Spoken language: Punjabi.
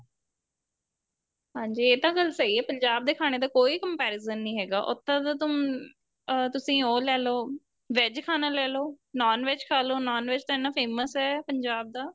ਹਾਂਜੀ ਇਹ ਤਾਂ ਗੱਲ ਸਹੀ ਏ ਪੰਜਾਬ ਦੇ ਖਾਣੇ ਦਾ ਕੋਈ comparison ਨਹੀਂ ਹੈਗਾ ਉੱਥੇ ਦੇ ਤਾਂ ਤੁਸੀਂ ਉਹ ਲੈਲੋ VEG ਖਾਣਾ ਲੈਲੋ NON VEG ਖਾਲੋ NON VEG ਤਾਂ ਇੰਨਾ famous ਏ ਪੰਜਾਬ ਦਾ